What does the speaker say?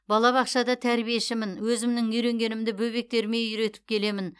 бабабақшада тәрбиешімін өзімнің үйренгенімді бөбектеріме үйретіп келемін